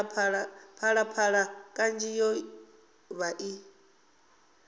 phalaphala kanzhi yo vha i